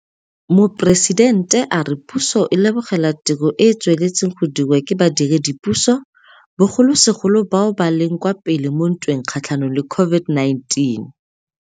Moporesitente a re puso e lebogela tiro e e tsweletseng go dirwa ke badiredipuso, bogolosegolo bao ba leng kwa pele mo ntweng kgatlhanong le COVID-19.